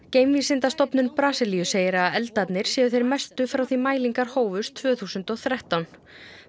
geimvísindastofnun Brasilíu segir að eldarnir séu þeir mestu frá því mælingar hófust tvö þúsund og þrettán